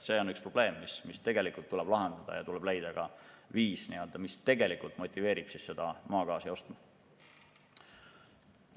See on üks probleem, mis tuleb lahendada, ja tuleb leida ka viis, mis tegelikult motiveerib seda maagaasi ostma.